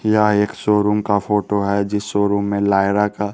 यह एक शोरूम का फोटो है जिस शोरूम में लायरा का--